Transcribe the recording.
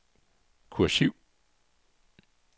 kursiv